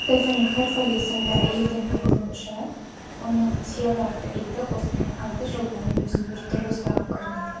стефани херфель есімді әйелдің айтуынша оның сьерра атты иті осыдан алты жыл бұрын өзін біртүрлі ұстаған көрінеді